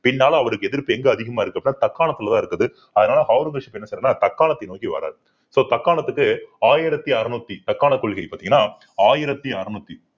பின்னால அவருக்கு எதிர்ப்பு எங்க அதிகமா இருக்கு அப்படின்னா தக்காணத்துலதான் இருக்குது அதனால ஔரங்கசீப் என்ன செய்யறாருன்னா தக்காணத்தை நோக்கி வர்றாரு so தக்காணத்துக்கு ஆயிரத்தி அறுநூத்தி தக்காண கொள்கை பாத்தீங்கன்னா ஆயிரத்தி அறுநூத்தி